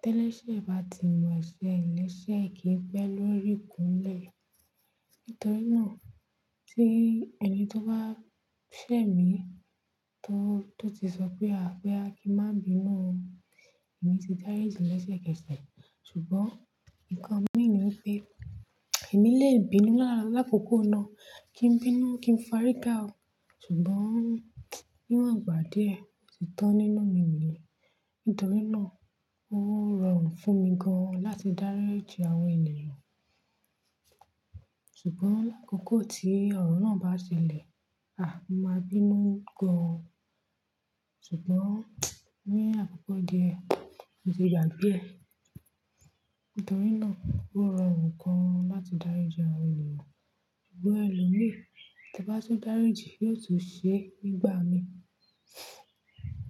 tẹ́lẹ̀ṣé bá ti mọ eṣẹ́ re lẹ́sẹ̀ ki n pẹ́ lórí ikúnlẹ̀. Nítorí náà tí ẹni tó bá ṣẹ̀ mí tó, tó ti sọ pé à, bóyá kí n má bínú ọ. Èmi ti dáríji lẹsẹ k'ẹsẹ Ṣùgbọ́n nǹkan mi ni pé èmi lè bínú lákòókò náà. Kí n bínú, kí n fárígà o. Ṣùgbọ́n níwòn gbà díẹ̀, ò tí tán nínú mi niyen. Nítorí náà ó rọrùn fúnmi gan láti dáríji àwọn ènìyàn. Ṣùgbọ́n lákòókò tí ọ̀rọ̀ náà bá ṣẹlẹ̀, a, máa bínú gan. Ṣùgbọ́n ní àkókò díẹ̀, mò tí gbàgbé e. Nítorí náà ó rọrùn gan láti dáríji àwọn ènìyàn. Ṣugbọn ẹlòmíí tí bá tún dáríji yóò tún ṣe nígbà mi.